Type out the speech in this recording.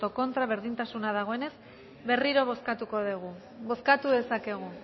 contra berdintasuna dagoenez berriro bozkatuko dugu bozkatu dezakegu